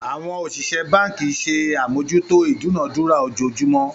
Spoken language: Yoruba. Àwọn òṣìṣẹ́ báǹkì ṣe àmójútó ìdúnadúrà ojoojúmọ́